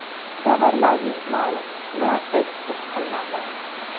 Tovarlarning ma’lum qismi eksport qilinadi.